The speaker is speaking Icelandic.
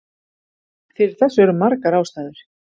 Fyrir þessu eru margar ástæður.